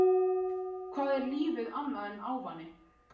Hvað er lífið annað en ávani?